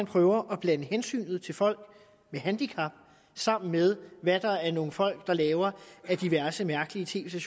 prøver at blande hensynet til folk med handicap sammen med hvad nogle folk laver af diverse mærkelige tv